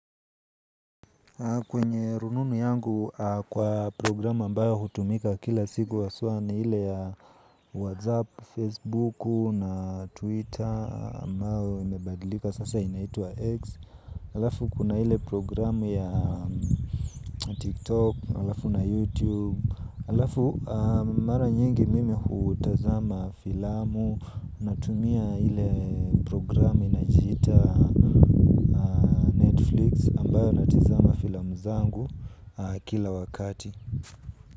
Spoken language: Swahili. Kwenye rununu yangu kwa programu ambayo hutumika kila siku haswaa ni ile ya Whatsapp, Facebook na Twitter ambao imebadilika sasa inaitua X. Alafu kuna hile programu ya TikTok, alafu na YouTube. Alafu mara nyingi mimi hutazama filamu. Natumia ile programi inajiita ambayo natizama filamu zangu kila wakati.